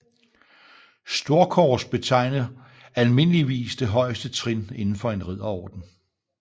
Storkors betegner almindeligvis det højeste trin inden for en ridderorden